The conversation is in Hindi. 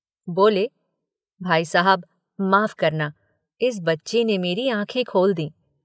बोले भाई साहब माफ करना इस बच्ची ने मेरी आंखें खोल दीं।